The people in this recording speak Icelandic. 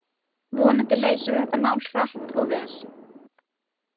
Vonandi leysum við þetta mál hratt og vel.